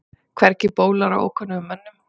Hvergi bólar á ókunnugum mönnum.